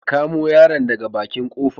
Ka kamu yaron daga baƙin ƙofa.